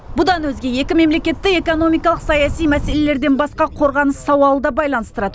бұдан өзге екі мемлекетте экономикалық саяси мәселелерден басқа қорғаныс сауалы да байланыстырады